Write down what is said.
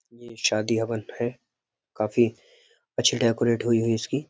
ये शादी हवन है। काफी अच्छी डेकोरेट हुई हुई इसकी।